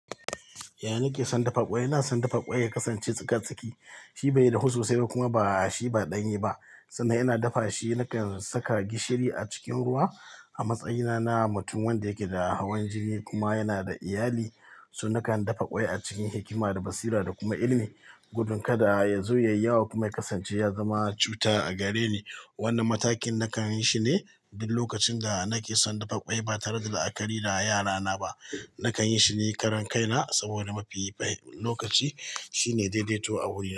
Ya nake son dafa kwai? Na son dafa kwai ya kasance tsika tsaki. Shi bai dafu sosai kuma ba shi ba ɗanye ba sannan ina dafa shi. Nakan saka gishiri a cikin ruwa a matsayina na mutum wanda yake da hawan jini kuma yana da iyali. So nakan dafa kwai a cikin hikima da basira da kuma ilimi. Gudun kada ya zo ya yi yawa kuma ya kasance ya zama cuta a gare ni. Wannan matakin nakan yi shi ne duk lokacin da nake son dafa kwai ba tare da la'akari da yarana ba. Nakan yi shi ni karan kaina, saboda mafi lokaci shine daidaito a wurin.